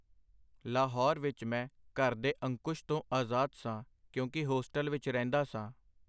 ਲਾਹੌਰ ਵਿਚ ਮੈਂ ਘਰ ਦੇ ਅਕੁੰਸ਼ ਤੋਂ ਆਜ਼ਾਦ ਸਾਂ, ਕਿਉਂਕਿ ਹੋਸਟਲ ਵਿਚ ਰਹਿੰਦਾ ਸਾਂ.